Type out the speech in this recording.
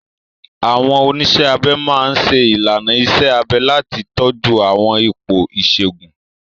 Àwọn oníṣẹ́ abẹ máa ń ṣe ìlànà iṣẹ́ abẹ láti tọ́jú àwọn ipò ìṣègùn.